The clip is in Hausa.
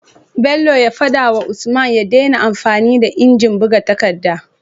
Bello ya fada wa usman ya dena amfani da inji buga takadda